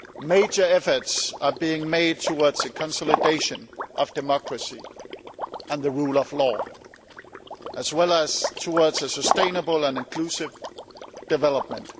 Major efforts are being made towards the consolidation of democracy and the rule of law, as well as towards sustainable and inclusive development.